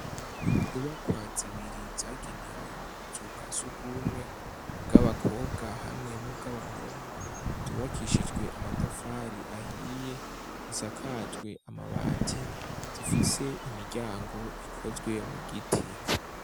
Inyubakwa zibiri zagenewe ubuzu bwasugumwe bw'abakobwa hamwe n'ubw'abahungu zubakishijwe amatafari ahiye zisakajwe amabati zifise imiryango ikozwe mu giti.